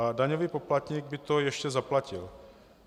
A daňový poplatník by to ještě zaplatil.